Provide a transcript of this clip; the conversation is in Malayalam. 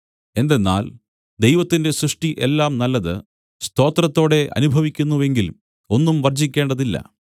എന്തെന്നാൽ ദൈവത്തിന്റെ സൃഷ്ടി എല്ലാം നല്ലത് സ്തോത്രത്തോടെ അനുഭവിക്കുന്നു എങ്കിൽ ഒന്നും വർജ്ജിക്കേണ്ടതില്ല